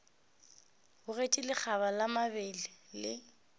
bogetše lekgaba la mabele le